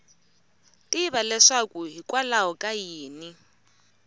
tiva leswaku hikwalaho ka yini